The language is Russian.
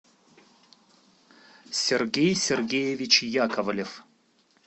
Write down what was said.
сергей сергеевич яковлев